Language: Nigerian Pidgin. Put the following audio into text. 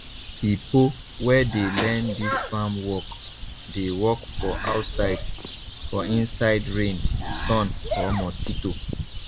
pipo wey dey learn dis farm work dey work for outside for inside rain sun or mosquito